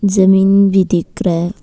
जमीन भी दिख रहा है।